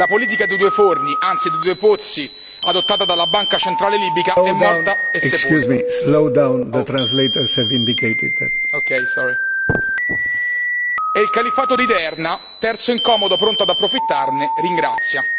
La politica dei due forni, anzi dei due pozzi, adottata dalla Banca centrale libica è morta e sepolta e il califfato di Derna, terzo incomodo pronto ad approfittarne, ringrazia.